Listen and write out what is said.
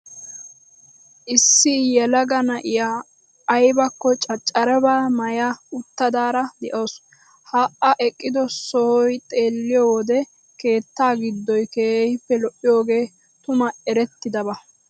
Issi yelaga na'iya aybakko caccarabaa maaya uttidaara de'awuus. Ha A eqqido sohaa xeelliyo wode keetta giddoy keehippe lo'iyogee tumu erettidaba.